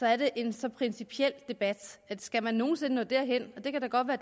er det en så principiel debat at skal man nogen sinde nå derhen det kan da godt være